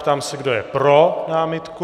Ptám se, kdo je pro námitku.